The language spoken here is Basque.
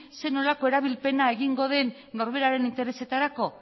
zer nolako erabilpena egingo den norberaren interesetarako